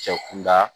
Cɛ kunda